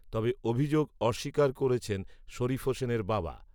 তবে অভিযোগ অস্বীকার করেছেন শরীফ হোসেনের বাবা